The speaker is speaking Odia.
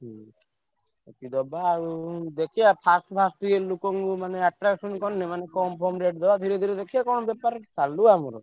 ହୁଁ। ଦବା ଆଉ ଦେଖିଆ first first ଟିକେ ଲୋକଙ୍କୁ ମାନେ attraction କରିଆ ମାନେ କମ୍ ଫମ rate ଦବା ଧୀରେ ଧୀରେ ଦେଖିଆ କଣ ବେପାର ଚାଲୁ ଆମର।